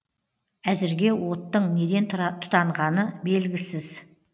әзірге оттың неден тұтанғаны белгісіз